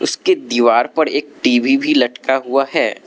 इसके दीवार पर एक टी_वी भी लटका हुआ है।